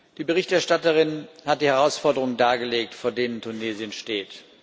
Die Berichterstatterin hat die Herausforderungen dargelegt, vor denen Tunesien steht.